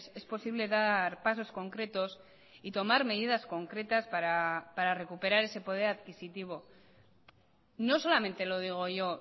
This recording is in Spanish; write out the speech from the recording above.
es posible dar pasos concretos y tomar medidas concretas para recuperar ese poder adquisitivo no solamente lo digo yo